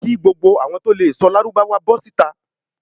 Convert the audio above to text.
Ki gbogbo awọn to lee sọ lárúbáwá bó̩ sita